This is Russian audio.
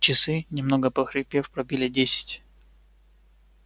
часы немного похрипев пробили десять